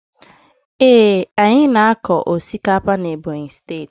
Ee, anyị na-akọ osikapa n'Ebonyi steeti.